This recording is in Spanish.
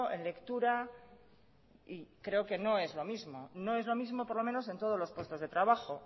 en lectura y creo que no es lo mismo no es lo mismo por lo menos en todos los puestos de trabajo